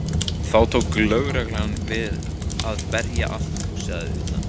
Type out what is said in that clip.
Þá tók lögreglan til við að berja allt húsið að utan.